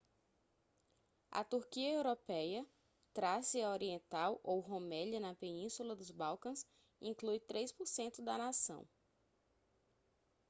a turquia europeia trácia oriental ou rumélia na península dos balcãs inclui 3% da nação